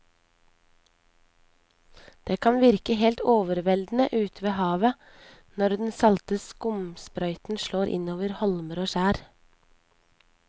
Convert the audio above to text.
Det kan virke helt overveldende ute ved havet når den salte skumsprøyten slår innover holmer og skjær.